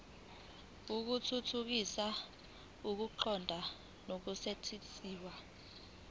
ukuthuthukisa ukuqonda nokusetshenziswa